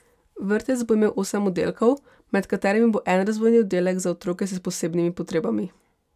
Vrtec bo imel osem oddelkov, med katerimi bo en razvojni oddelek za otroke s posebnimi potrebami.